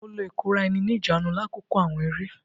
Mo lo ikora-eni-nijaanu lakoko awọn eré.